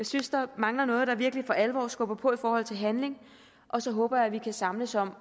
synes der mangler noget der virkelig for alvor skubber på i forhold til handling og så håber jeg at vi kan samles om